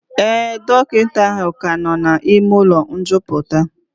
Ee, dọkịta ahụ ka nọ n'ime ụlọ njupụta